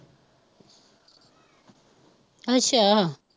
ਅੱਛਾ